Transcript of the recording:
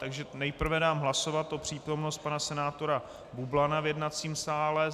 Čili nejprve dám hlasovat o přítomnosti pana senátora Bublana v jednacím sále.